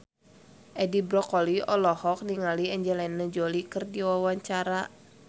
Edi Brokoli olohok ningali Angelina Jolie keur diwawancara